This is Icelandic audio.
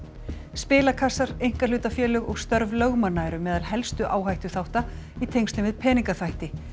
spilakassar einkahlutafélög og störf lögmanna eru meðal helstu áhættuþátta í tengslum við peningaþvætti